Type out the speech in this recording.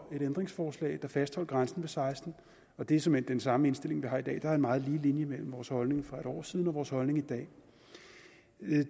et ændringsforslag der fastholdt grænsen ved seksten år og det er såmænd den samme indstilling vi har i dag der er en meget lige linje mellem vores holdning for et år siden og vores holdning i dag